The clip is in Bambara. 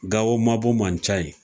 Gawo mabɔ man ca ye